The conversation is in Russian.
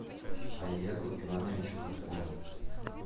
олегу ивановичу каткову